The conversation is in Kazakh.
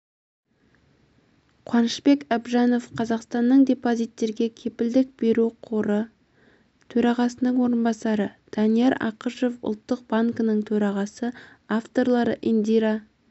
қуанышбек әбжанов қазақстанның депозиттерге кепілдік беру қоры төрағасының орынбасары данияр ақышев ұлттық банкінің төрағасы авторлары индира